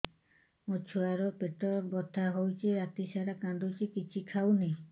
ମୋ ଛୁଆ ର ପେଟ ବଥା ହଉଚି ରାତିସାରା କାନ୍ଦୁଚି କିଛି ଖାଉନି